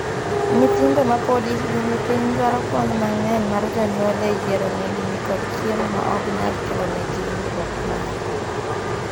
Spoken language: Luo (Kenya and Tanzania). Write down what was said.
Nyithindo mapod hikgi ni piny dwaro kony mang'eny mar jonjuol e yiero nengni kod chiemo ma ok nyal kelonegi hinyruok bang'e.